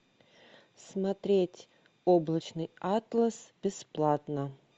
смотреть облачный атлас бесплатно